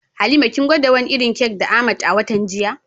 Halima kin gwada wani irin kek da Ahmad a watan jiya?